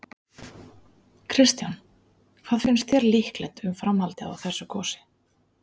Kristján: Hvað finnst þér líklegt um framhaldið á þessu gosi?